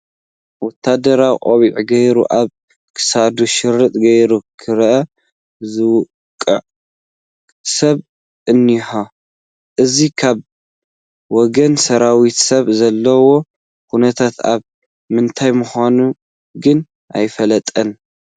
ወታደራዊ ቆቢዕ ገይሩ፣ ኣብ ክሳዱ ሽርጥ ገይሩ ክራር ዝወቅዕ ሰብ እኒሀ፡፡ እዚ ካብ ወገን ሰራዊት ሰብ ዘለዎ ኩነታት ኣብ ምንታይ ምዃኑ ግን ኣይፍለጥን፡፡